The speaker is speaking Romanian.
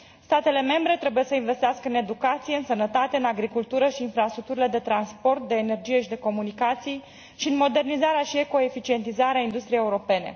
Statele membre trebuie să investească în educație, în sănătate, în agricultură și infrastructurile de transport, de energie și de comunicații și în modernizarea și eco eficientizarea industriei europene.